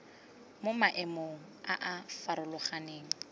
mo maemong a a farologaneng